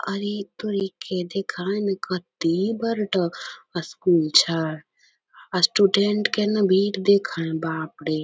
अरे तोरी के देखे में कते बड़ ड स्कूल छै स्टूडेंट के ने भीड़ देखे बाप रे।